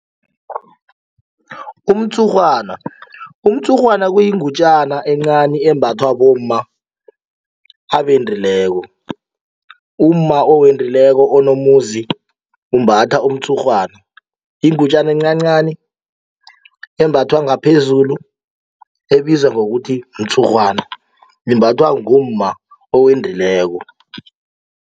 Umtshurhwana, umtshurhwana kuyingutjana encani embathwa bomma abendileko, umma owendileko onomuzi umbatha umtshurhwana yingutjana encancani embathwa ngaphezulu ebizwa ngokuthi mtshurhwana imbathwa ngumma owendileko.